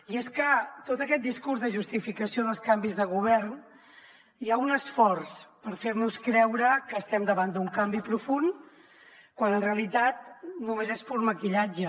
i és que en tot aquest discurs de justificació dels canvis de govern hi ha un esforç per fer nos creure que estem davant d’un canvi profund quan en realitat només és pur maquillatge